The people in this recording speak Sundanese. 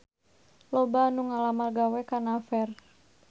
Loba anu ngalamar gawe ka Naver